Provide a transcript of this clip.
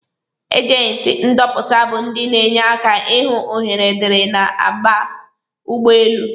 agenti ndọpụta bu ndi n' enye aka ihụ ohere diri ndi n'aba ụgbọ elụ.